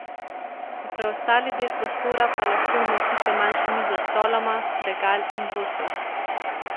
V preostali del prostora pa lahko umestite manjšo mizo s stoloma, regal in dvosed.